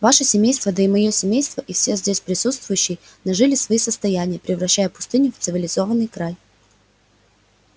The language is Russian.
ваше семейство да и моё семейство и все здесь присутствующие нажили свои состояния превращая пустыню в цивилизованный край